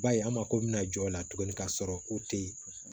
B'a ye an mako bɛna jɔ o la tuguni ka sɔrɔ ko tɛ yen